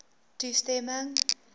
toestemming